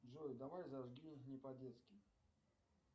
джой давай зажги не по детски